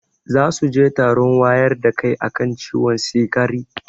Zasuje taron wayar da kai akan ciwon sikari